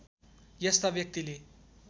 यस्ता व्यक्तिले